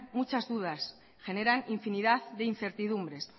muchas dudas generan infinidad de incertidumbres